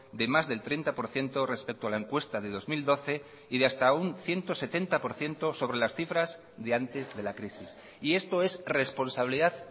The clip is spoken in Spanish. de más del treinta por ciento respecto a la encuesta de dos mil doce y de hasta un ciento setenta por ciento sobre las cifras de antes de la crisis y esto es responsabilidad